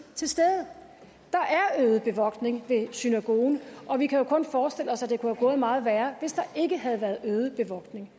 til stede der er øget bevogtning ved synagogen og vi kan jo kun forestille os at det kunne være gået meget værre hvis der ikke havde været øget bevogtning